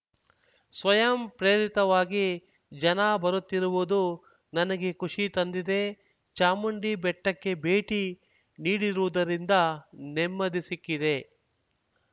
ಸ್ವಯಂಪ್ರೇರಿತವಾಗಿ ಜನ ಬರುತ್ತಿರುವುದು ನನಗೆ ಖುಷಿ ತಂದಿದೆ ಚಾಮುಂಡಿ ಬೆಟ್ಟಕ್ಕೆ ಭೇಟಿ ನೀಡಿರುವುದರಿಂದ ನೆಮ್ಮದಿ ಸಿಕ್ಕಿದೆ